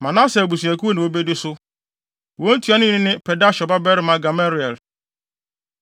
Manase abusuakuw na wobedi so. Wɔn ntuanoni ne Pedahsur babarima Gamaliel.